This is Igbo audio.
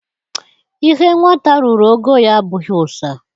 Ihe nwata ruru ogo ya abụghị ụsa